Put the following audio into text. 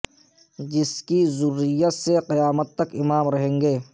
جس کی ذریت سے قیامت تک امام رہیں گے